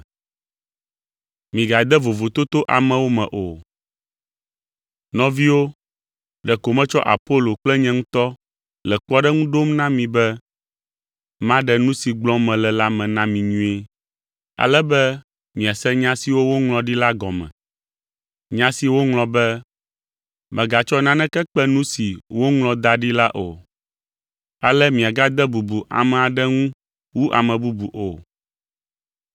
Nɔviwo, ɖeko metsɔ Apolo kple nye ŋutɔ le kpɔɖeŋu ɖom na mi be maɖe nu si gblɔm mele la me na mi nyuie, ale be miase nya siwo woŋlɔ ɖi la gɔme; nya si woŋlɔ be, “Mègatsɔ naneke kpe nu si woŋlɔ da ɖi la o.” Ale miagade bubu ame aɖe ŋu wu ame bubu o.